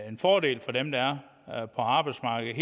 en fordel for dem der er på arbejdsmarkedet